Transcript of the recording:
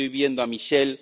Estoy viendo a Michel.